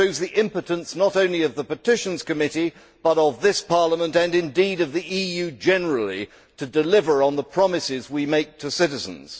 It shows the impotence not only of the Committee on Petitions, but of this Parliament and indeed of the EU generally to deliver on the promises we make to citizens.